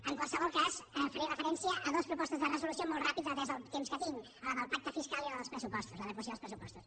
en qualsevol cas faré referència a dues propostes de resolució molt ràpid atès el temps que tinc a la del pacte fiscal i a la dels pressupostos l’adequació dels pressupostos